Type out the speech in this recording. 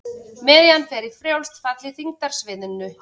Miðjan fer í frjálst fall í þyngdarsviðinu.